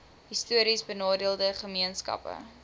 histories benadeelde gemeenskappe